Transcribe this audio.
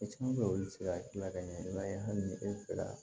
E caman bɛ yen olu bɛ se ka gila ka ɲɛ i b'a ye hali ni e fɛ